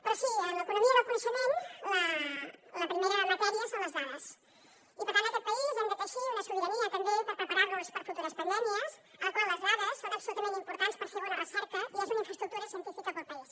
però sí en l’economia del coneixement la primera matèria són les dades i per tant en aquest país hem de teixir una sobirania també per preparar nos per a futures pandèmies en la qual les dades són absolutament importants per fer bona recerca i són una infraestructura científica per al país